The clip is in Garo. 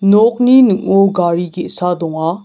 nokni ning·o gari ge·sa donga.